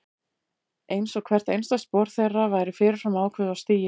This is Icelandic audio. Einsog hvert einasta spor þeirra væri fyrir fram ákveðið og stigið.